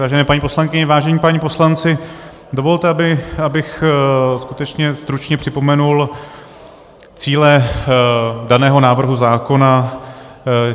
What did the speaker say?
Vážené paní poslankyně, vážení páni poslanci, dovolte, abych skutečně stručně připomenul cíle daného návrhu zákona.